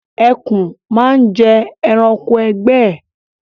Ẹkùn máa ń jẹ ẹranko ẹgbẹ́ ẹ